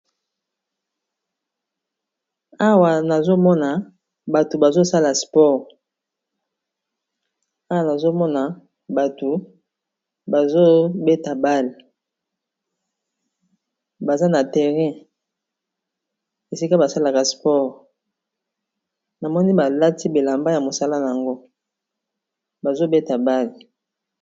awa nazomona bato bazobeta bale baza na terrain esika basalaka spore na moni balati belamba ya mosala yango bazobeta bale